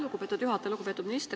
Lugupeetud minister!